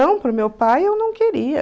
para o meu pai eu não queria.